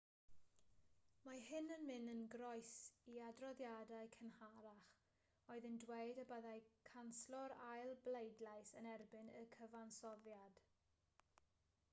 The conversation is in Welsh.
mae hyn yn mynd yn groes i adroddiadau cynharach oedd yn dweud y byddai canslo'r ail bleidlais yn erbyn y cyfansoddiad